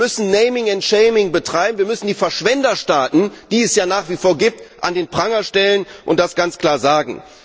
Wir müssen naming and shaming betreiben, wir müssen die Verschwenderstaaten, die es ja nach wie vor gibt, an den Pranger stellen und das ganz klar sagen.